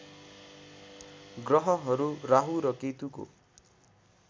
ग्रहहरू राहु र केतुको